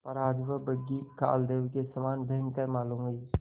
पर आज वह बग्घी कालदेव के समान भयंकर मालूम हुई